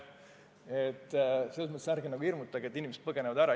Selles mõttes ärge nagu hirmutage, et inimesed põgenevad Eestist ära.